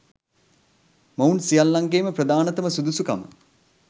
මොවුන් සියල්ලන්ගේම ප්‍රධානතම සුදුසුකම